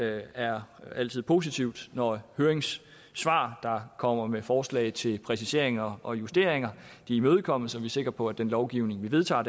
er altid positivt når høringssvar der kommer med forslag til præciseringer og justeringer imødekommes så vi er sikre på at den lovgivning vi vedtager